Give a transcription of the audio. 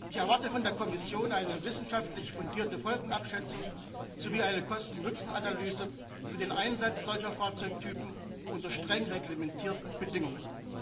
Ich erwarte von der Kommission eine wissenschaftlich fundierte Folgenabschätzung sowie eine Kosten Nutzen Analyse für den Einsatz solcher Fahrzeugtypen unter streng reglementierten Bedingungen.